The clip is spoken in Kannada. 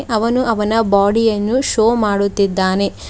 ಅವನು ಅವನ ಬಾಡಿ ಅನ್ನು ಶೋ ಮಾಡುತ್ತಿದ್ದಾನೆ.